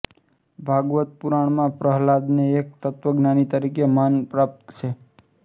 ભાગવત પુરાણમાં પ્રહલાદને એક તત્વજ્ઞાની તરીકેનું માન પ્રાપ્ત છે